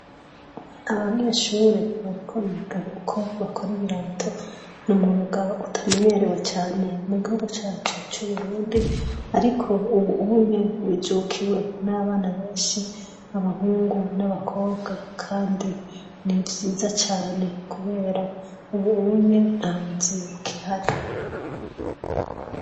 Abanyeshure bariko biga uko bakora ibirato. N’umwuga utamenyerewe cane mugihugu cacu c’Uburundi ariko ubu unya wijukiwe n’abana benshi b’abahungu n’abakobwa Kandi ni vyiza cane kubera ubu unye ntabuzi bukihari.